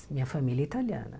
Minha família é italiana.